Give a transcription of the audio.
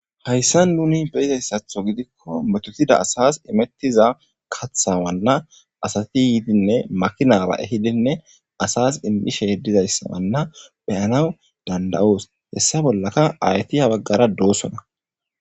hayssan muni beyizayssatho gidikko metotida asas imettiza kathawanna asati yiidinne makinaaba ehidinne asas immishe dizayssaanna beyanaw danda7oos hessa bollaka ayti ha baggara doosona